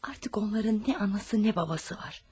Artıq onların nə anası, nə babası var.